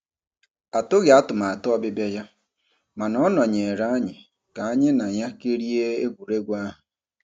Atụghị atụmatụ ọbịbịa ya, mana ọ nọnyeere anyị ka anyị na ya kirie egwuregwu ahụ.